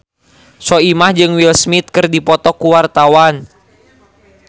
Soimah jeung Will Smith keur dipoto ku wartawan